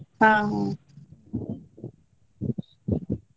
ಹಾ ಹಾ.